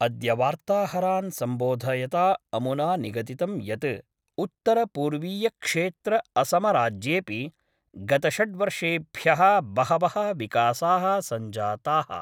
अद्य वार्ताहरान् सम्बोधयता अमुना निगदितं यत् उत्तरपूर्वीयक्षेत्रअसमराज्येपि गतषड्वर्षेभ्य: बहवः विकासा: संजाता:।